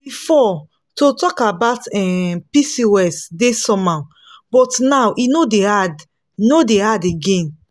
before to talk about um pcos dey somehow but now e no dey hard no dey hard again.